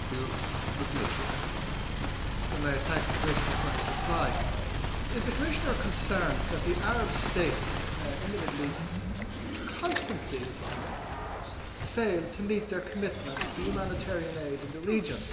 I would like to thank the Commissioner for his reply. Is the Commissioner not concerned that the Arab states in the Middle East constantly fail to meet their commitments to humanitarian aid in the region?